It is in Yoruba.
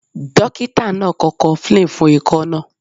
Dókítà náà kọ Cofflin fún ikọ́ náà.